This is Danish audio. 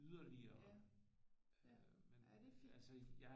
Ja ja ja det er fint